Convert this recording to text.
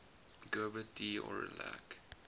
gerbert d aurillac